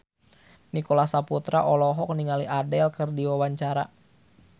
Nicholas Saputra olohok ningali Adele keur diwawancara